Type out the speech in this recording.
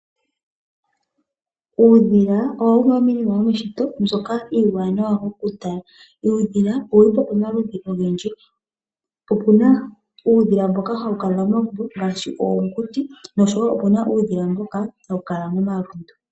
Uudhila owo wumwe womiinima y,omeshito mbyoka iiwanawa okutala. Uudhila owu li pamaludhi ogendji. Opu na uudhila mboka hawu kala momagumbo ngaashi oonguti nosho wo opu na uudhila mboka hawu kala momalundu.